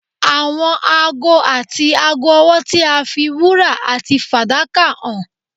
Àwọn aago àti aago ọwọ tí a fi wúrà àti fàdákà hàn